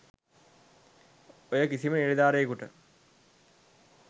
ඔය කිසිම නිලධාරියෙකුට